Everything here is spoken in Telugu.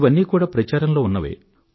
ఇవన్నీ కూడా ప్రచారంలో ఉన్నవే